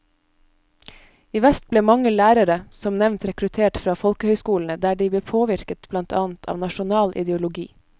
I vest ble mange lærere som nevnt rekruttert fra folkehøyskolene, der de ble påvirket blant annet av nasjonal ideologi.